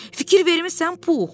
“Fikir vermisən, Pux?”